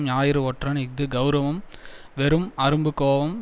ஞாயிறு ஒற்றன் இஃது கெளரவம் வெறும் அரும்பு கோபம்